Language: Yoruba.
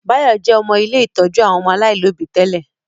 Báyọ̀ jẹ́ ọmọ ilé ìtọ́jú àwọn ọmọ aláìlóbi tẹ́lẹ̀